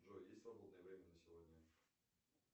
джой есть свободное время на сегодня